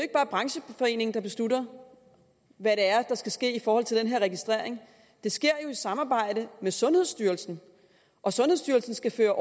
er brancheforeningen der beslutter hvad det er der skal ske i forhold til den her registrering det sker jo i samarbejde med sundhedsstyrelsen og sundhedsstyrelsen skal føre